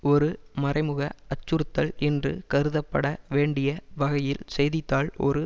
ஒரு மறைமுக அச்சுறுத்தல் என்று கருதப்பட வேண்டிய வகையில் செய்தி தாள் ஒரு